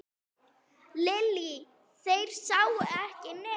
Lillý: Þeir sáu ekki neitt?